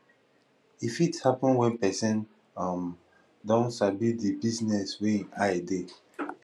e fit happen when person um don sabi di business wey im eye dey